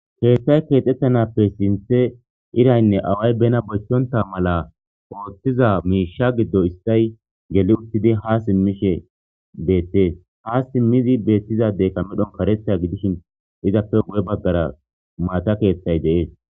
Keththay kexxetqnappe sinthhte irayinne awayi bena bochchontta mala oththiza mishsha giddo issayi gelli uttidi ha simishshe bettes ha simmidi bettiza addeyi kareththa giddshin izappe guye baggara Mata keththayi de'ess.